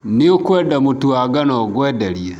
Nĩũkwenda mũtu wa ngano ngwenderie.